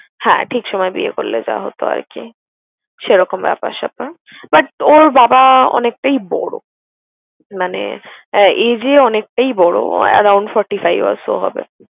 হ্যাঁ ঠিক সময় বিয়ে করলে যা হতো আর কি সেরকম ব্যাপার-স্যাপার। But ওর বাবা অনেকটাই বড়। মানে আহ age এ অনেকটাই বড় around forty five years ও হবে।